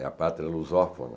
É a pátria lusófona.